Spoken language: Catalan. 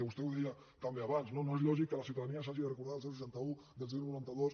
vostè ho deia també abans no no és lògic que la ciutadania s’hagi de recordar del seixanta un del noranta dos